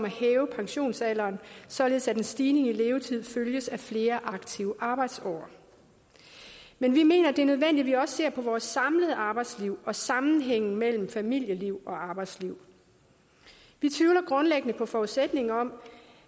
hæve pensionsalderen således at en stigning i levetid følges af flere aktive arbejdsår men vi mener det er nødvendigt at man også ser på vores samlede arbejdsliv og sammenhængen mellem familieliv og arbejdsliv vi tvivler grundlæggende på forudsætningen om